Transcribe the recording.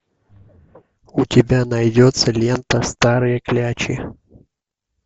у тебя найдется лента старые клячи